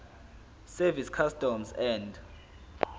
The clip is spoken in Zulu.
service customs and